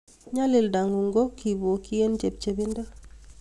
nyalilda ngu'ung ko kibokchin eng chepchebindo